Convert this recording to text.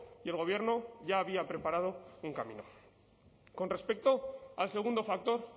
y el gobierno ya había preparado un camino con respecto al segundo factor